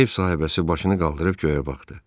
Ev sahibəsi başını qaldırıb göyə baxdı.